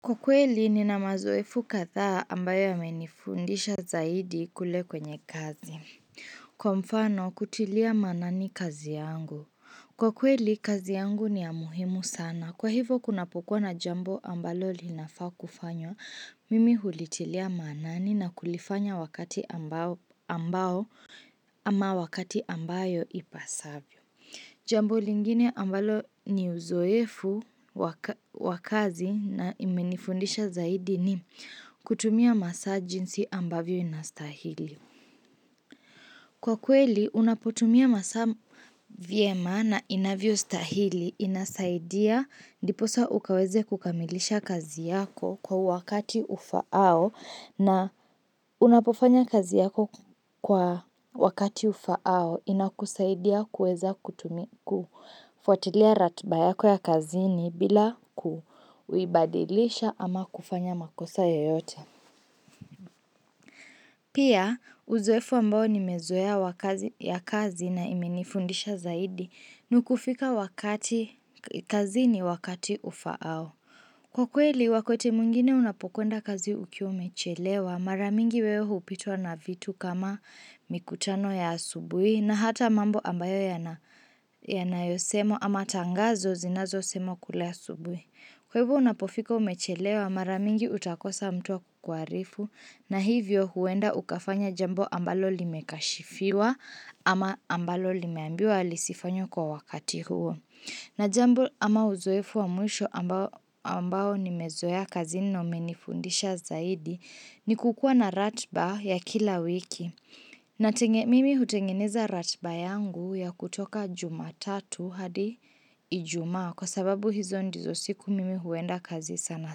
Kwa kweli, nina mazoefu kadhaa ambayo yamenifundisha zaidi kule kwenye kazi. Kwa mfano, kutilia maanani kazi yangu. Kwa kweli, kazi yangu ni ya muhimu sana. Kwa hivo, kunapokuwa na jambo ambalo linafaa kufanywa. Mimi hulitilia maanani na kulifanya wakati ambao ama wakati ambayo ipasavyo. Jambo lingine ambalo ni uzoefu wa kazi na imenifundisha zaidi ni kutumia masaa jinsi ambavyo inastahili. Kwa kweli, unapotumia masaa vyema na inavyostahili inasaidia ndiposa ukaweze kukamilisha kazi yako kwa wakati ufaao na unapofanya kazi yako kwa wakati ufaao inakusaidia kuweza kutumia kufuatilia ratiba yako ya kazini bila kuibadilisha ama kufanya makosa yoyote. Pia uzoefu ambao nimezoea wa kazi ya kazi na imenifundisha zaidi ni kufika wakati kazini wakati ufaao. Kwa kweli wakaie mwingine unapokwenda kazi ukiwa umechelewa mara mingi wewe hupitwa na vitu kama mikutano ya asubuhi na hata mambo ambayo yanayosema ama tangazo zinazo semwa kule asubuhi. Kwa hivo unapofika ukiwa umechelewa mara mingi utakosa mtu wa kukuarifu na hivyo huenda ukafanya jambo ambalo limekashifiwa ama ambalo limeambiwa lisifanywe kwa wakati huo. Na jambo ama uzoefu wa mwisho ambao nimezoea kazini na wamenifundisha zaidi ni kukuwa na ratiba ya kila wiki. Na mimi hutengeneza ratiba yangu ya kutoka jumatatu hadi ijumaa kwa sababu hizo ndizo siku mimi huenda kazi sana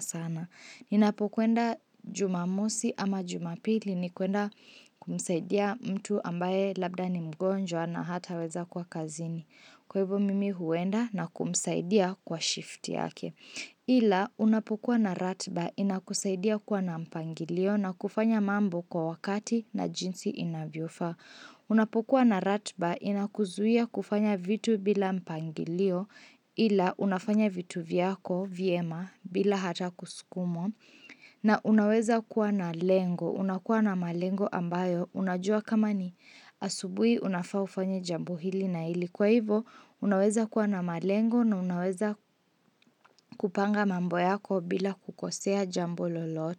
sana. Ninapokwenda jumamosi ama jumapili ni kuenda kumsaidia mtu ambaye labda ni mgonjwa na hataweza kuwa kazini. Kwa hivyo mimi huenda na kumsaidia kwa shift yake. Ila unapokuwa na ratiba inakusaidia kuwa na mpangilio na kufanya mambo kwa wakati na jinsi inavyofaa. Unapokuwa na ratiba inakuzuia kufanya vitu bila mpangilio ila unafanya vitu vyako vyema bila hata kuskumwa na unaweza kuwa na lengo unakuwa na malengo ambayo unajua kama ni asubuhi unafaa ufanye jambo hili na hili kwa hivo unaweza kuwa na malengo na unaweza kupanga mambo yako bila kukosea jambo lolote.